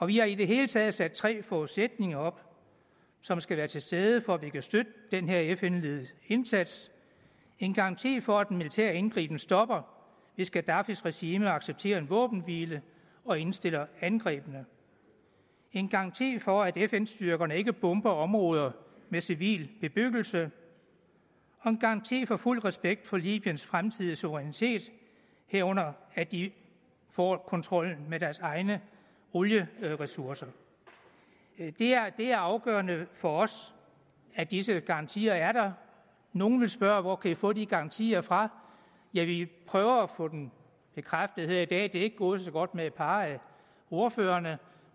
vi har i det hele taget sat tre forudsætninger op som skal være til stede for at vi kan støtte den her fn ledede indsats en garanti for at den militære indgriben stopper hvis gaddafis regime accepterer en våbenhvile og indstiller angrebene en garanti for at fn styrkerne ikke bomber områder med civil bebyggelse og en garanti for fuld respekt for libyens fremtidige suverænitet herunder at de får kontrollen med deres egne olieressourcer det er afgørende for os at disse garantier er der nogle vil spørge hvor kan i få de garantier fra ja vi prøver at få dem bekræftet her i dag det er ikke gået så godt med et par af ordførerne